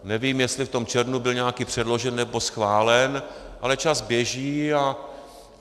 Nevím, jestli v tom červnu byl nějaký předložen nebo schválen, ale čas běží.